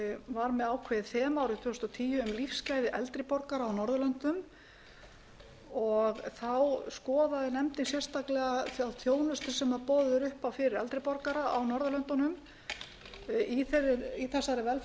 var með ákveðið þema fyrir árið tvö þúsund og tíu um lífsgæði eldri borgara á norðurlöndum þá skoðaði nefndin sérstaklega þá þjónustu sem boðið er upp á fyrir eldri borgara á norðurlöndunum í þessari velferðarnefnd